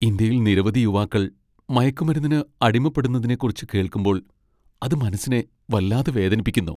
ഇന്ത്യയിൽ നിരവധി യുവാക്കൾ മയക്കുമരുന്നിന് അടിമപ്പെടുന്നതിനെക്കുറിച്ച് കേൾക്കുമ്പോൾ അത് മനസ്സിനെ വല്ലാതെ വേദനിപ്പിക്കുന്നു.